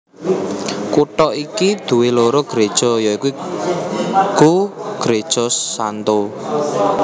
Kutha iki duwé loro gréja ya iku Gréja St